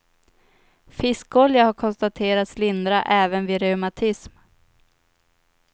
Fiskolja har konstaterats lindra även vid reumatism.